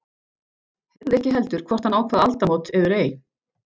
Heyrði ekki heldur hvort hann ákvað aldamót eður ei.